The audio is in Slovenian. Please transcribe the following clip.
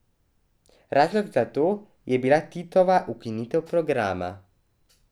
Razlog za to je bila Titova ukinitev programa.